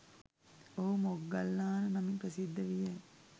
ඔහු මොග්ගල්ලාන නමින් ප්‍රසිද්ධ විය.